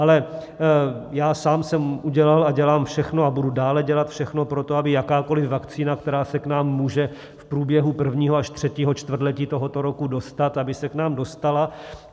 Ale já sám jsem udělal a dělám všechno a budu dále dělat všechno pro to, aby jakákoli vakcína, která se k nám může v průběhu prvního až třetího čtvrtletí tohoto roku dostat, aby se k nám dostala.